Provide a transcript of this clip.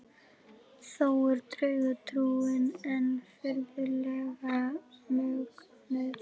Þó er draugatrúin enn furðanlega mögnuð.